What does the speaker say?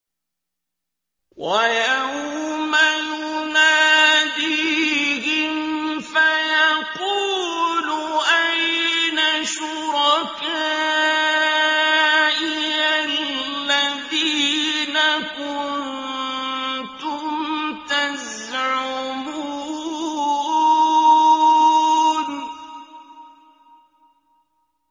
وَيَوْمَ يُنَادِيهِمْ فَيَقُولُ أَيْنَ شُرَكَائِيَ الَّذِينَ كُنتُمْ تَزْعُمُونَ